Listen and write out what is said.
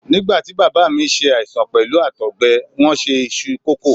Nígbàtí Bàbá mi ṣe àìsàn pẹ̀lú Àtọ̀gbẹ, wón se iṣu kòkó.